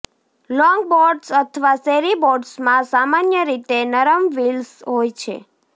longboards અથવા શેરી બોર્ડ્સમાં સામાન્ય રીતે નરમ વ્હીલ્સ હોય છે